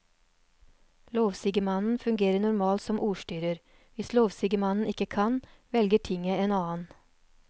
Lovsigemannen fungerer normalt som ordstyrer, hvis lovsigemannen ikke kan, velger tinget en annen.